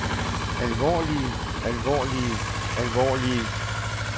alvorlige alvorlige alvorlige